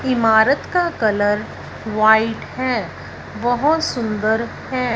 इमारत का colour white है बहुत सुंदर है।